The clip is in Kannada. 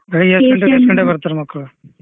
ಬೆಳಿಗ್ಗೆ ಎಸ್ಟ್ ಗಂಟೆಕ್ ಬರ್ತಾರ್ ಮಕ್ಳು